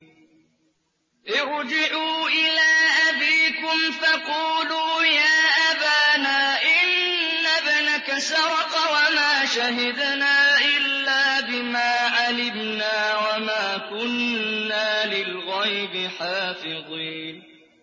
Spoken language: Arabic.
ارْجِعُوا إِلَىٰ أَبِيكُمْ فَقُولُوا يَا أَبَانَا إِنَّ ابْنَكَ سَرَقَ وَمَا شَهِدْنَا إِلَّا بِمَا عَلِمْنَا وَمَا كُنَّا لِلْغَيْبِ حَافِظِينَ